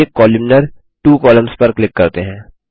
चलिए columnar two columns पर click करते हैं